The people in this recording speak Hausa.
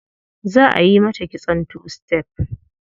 Za a yi mata kitson two step.